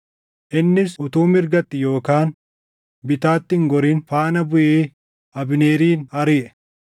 Innis utuu mirgatti yookaan bitaatti hin gorin faana buʼee Abneerin ariʼe.